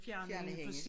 Fjerne hende